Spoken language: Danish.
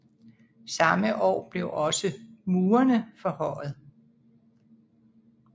Samme år blev også murene forhøjet